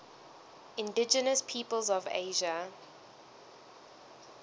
indigenous peoples of asia